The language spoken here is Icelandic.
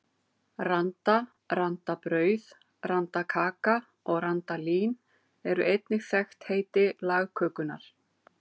Randa, randabrauð, randakaka og randalín eru einnig þekkt heiti lagkökunnar.